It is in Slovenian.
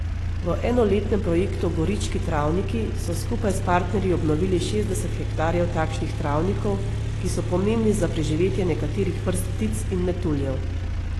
V enoletnem projektu Gorički travniki so skupaj s partnerji obnovili šestdeset hektarjev takšnih travnikov, ki so pomembni za preživetje nekaterih vrst ptic in metuljev.